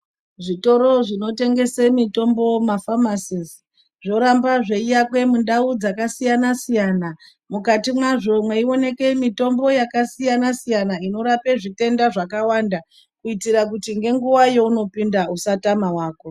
Zvitoro zvinotengese mitombo mafamasisi zvoramba zveiakwe mundau dzakasiyana siyana mukati mwazvo mweioneke mitombo yakasiyana siyana inorape zvitenda zvakawanda kuitira kuti ngenguwa yeunopinda usatame wako.